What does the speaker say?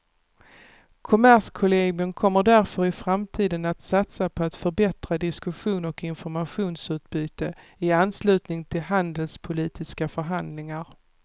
Kommerskollegium kommer därför i framtiden att satsa på att förbättra diskussion och informationsutbyte i anslutning till handelspolitiska förhandlingar.